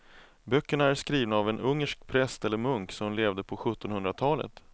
Böckerna är skrivna av en ungersk präst eller munk som levde på sjuttonhundratalet.